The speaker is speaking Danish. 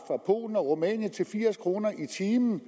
polen og rumænien til firs kroner i timen